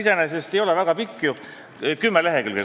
See iseenesest ei ole väga pikk, kuskil kümme lehekülge.